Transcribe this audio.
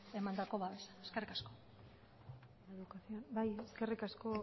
emandako babesa eskerrik asko bai eskerrik asko